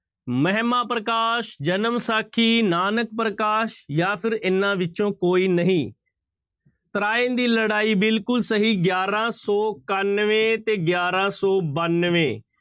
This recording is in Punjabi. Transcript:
ਮਹਿਮਾਂ ਪ੍ਰਕਾਸ਼, ਜਨਮ ਸਾਖੀ, ਨਾਨਕ ਪ੍ਰਕਾਸ਼ ਜਾਂ ਫਿਰ ਇਹਨਾਂ ਵਿੱਚੋਂ ਕੋਈ ਨਹੀਂ ਤਰਾਇਣ ਦੀ ਲੜਾਈ ਬਿਲਕੁਲ ਸਹੀ ਗਿਆਰਾਂ ਸੌ ਇਕਾਨਵੇਂ ਤੇ ਗਿਆਰਾਂ ਸੌ ਬਾਨਵੇਂ।